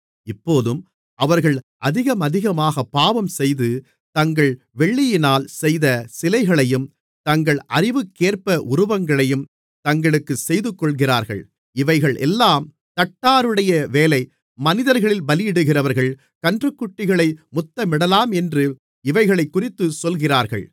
இப்போதும் அவர்கள் அதிகமதிகமாகப் பாவம் செய்து தங்கள் வெள்ளியினால் செய்த சிலைகளையும் தங்கள் அறிவுக்கேற்ப உருவங்களையும் தங்களுக்கு செய்துகொள்கிறார்கள் இவைகளெல்லாம் தட்டாருடைய வேலை மனிதர்களில் பலியிடுகிறவர்கள் கன்றுக்குட்டிகளை முத்தமிடலாமென்று இவைகளைக்குறித்துச் சொல்கிறார்கள்